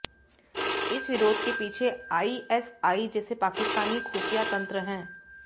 इस विरोध के पीछे आईएसआई जैसे पाकिस्तानी खुफिया तंत्र हैं